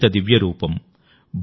వందిత దివ్య రూపం|